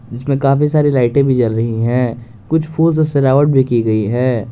इसमें काफी सारी लाइटें भी जल रही है कुछ फूल से सजावट भी की गई है।